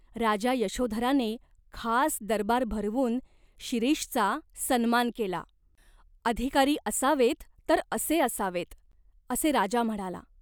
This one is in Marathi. राजा यशोधराने खास दरबार भरवून शिरीषचा सन्मान केला. अधिकारी असावेत तर असे असावेत, असे राजा म्हणाला.